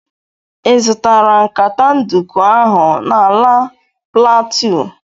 Ị zụtara nkata nduku ahụ n'ala plateau?